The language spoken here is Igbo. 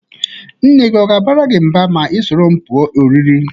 Nne gi ọ ga-abara gi mba ma ị soro m pụọ ọrịrị?